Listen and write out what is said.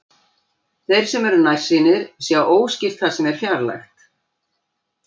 Þeir sem eru nærsýnir sjá óskýrt það sem er fjarlægt.